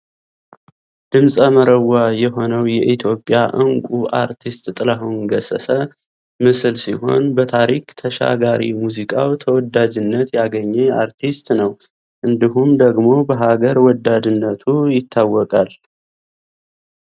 ድምጽ መረዋ የሆነው የኢትዮጵያ እንቁ አርቲስት ጥላሁን ገሠሠ ምስል ሲሆን በታሪክ ተሻጋሪ ሙዚቃው ተወዳጅነት ያገኘ አርቲስት ነው ። እንዲሁም ደግሞ በሀገር ወዳድነቱ ይታወቃል።